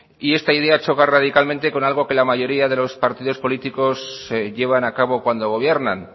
esta idea choca radicalmente con algo que la mayoría de los partidos políticos llevan a cabo cuando gobiernan